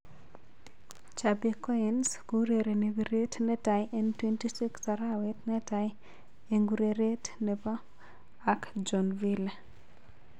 Chapecoense kourereni piret ne tai en 26 arawet netai eng ureret ap gaa ak joinville.